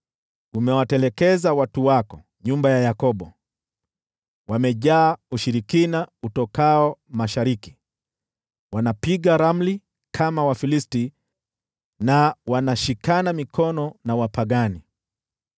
Umewatelekeza watu wako, nyumba ya Yakobo. Wamejaa ushirikina utokao Mashariki, wanapiga ramli kama Wafilisti na wanashikana mikono na wapagani.